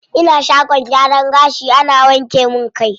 Ina shagon gyaran gashi ana wanke min kai.